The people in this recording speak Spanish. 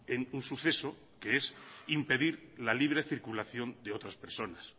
en un suceso que es impedir la libre circulación de otras personas